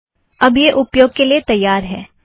अब यह उपयोग के लिए तैयार है